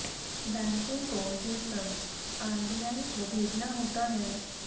बैंकों को ये सब आरबीआई को भेजना होता है